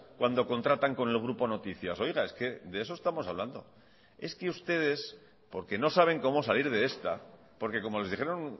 cuando contratan con el grupo noticias oiga es que de eso estamos hablando es que ustedes porque no saben cómo salir de esta porque como les dijeron